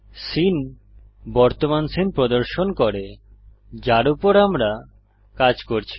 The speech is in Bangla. সিন বর্তমান সীন প্রদর্শন করে যার উপর আমরা কাজ করছি